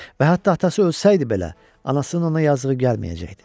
Və hətta atası ölsəydi belə, anasının ona yazığı gəlməyəcəkdi.